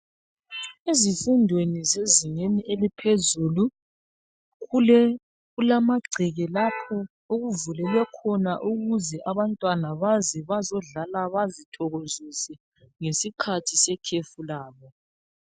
Ezifundweni zezingeni eliphezulu, kulamagceke lapho okuvuleke khona ukuze abantwana baze bazodlala bazithokozise, ngesikhathi sekhefulabo.